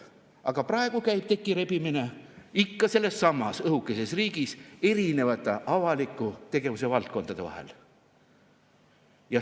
Aga praegu käib tekirebimine ikka sellessamas õhukeses riigis erinevate avaliku tegevuse valdkondade vahel.